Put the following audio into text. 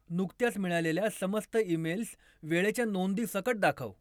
नुकत्याच मिळालेल्या समस्त ईमेल्स वेळेच्या नोंदीसकट दाखव.